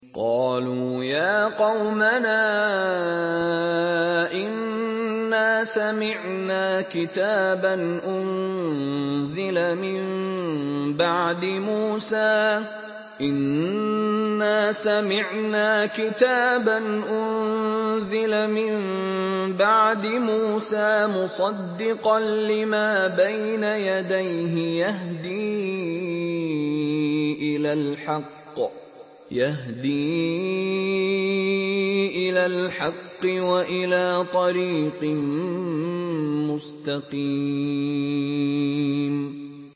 قَالُوا يَا قَوْمَنَا إِنَّا سَمِعْنَا كِتَابًا أُنزِلَ مِن بَعْدِ مُوسَىٰ مُصَدِّقًا لِّمَا بَيْنَ يَدَيْهِ يَهْدِي إِلَى الْحَقِّ وَإِلَىٰ طَرِيقٍ مُّسْتَقِيمٍ